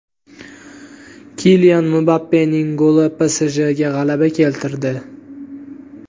Kilian Mbappening goli PSJga g‘alaba keltirdi.